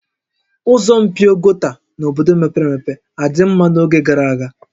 Ụzọ mpio gota n'obodo mepere emepe a dị mma n'oge gara aga?